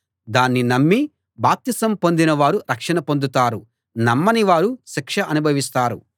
దాన్ని నమ్మి బాప్తిసం పొందిన వారు రక్షణ పొందుతారు నమ్మని వారు శిక్ష అనుభవిస్తారు